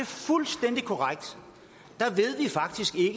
fuldstændig korrekt